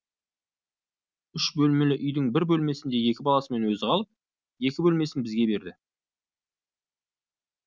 үш бөлмелі үйдің бір бөлмесінде екі баласымен өзі қалып екі бөлмесін бізге берді